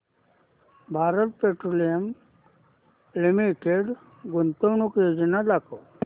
Bharat petroleum limited गुंतवणूक योजना दाखव